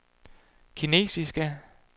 kinesiske